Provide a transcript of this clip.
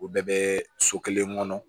O bɛɛ bɛ so kelen kɔnɔ